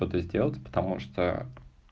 подойдёт потому что